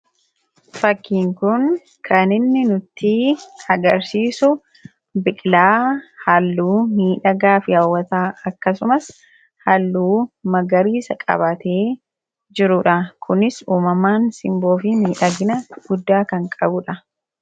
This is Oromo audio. Fakkiin kun kan inni nutti agarsiisu, biqilaa haalluu miidhagaa fi hawwataa akkasumas haalluu magariisa qabaatee jiruudha. Kunis uumamaan simboo fii miidhagna guddaa kan qabuudha.